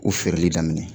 U feereli daminɛ